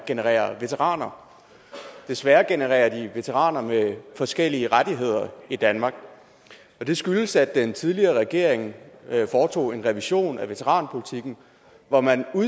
genererer veteraner desværre genererer de veteraner med forskellige rettigheder i danmark det skyldes at den tidligere regering foretog en revision af veteranpolitikken hvor man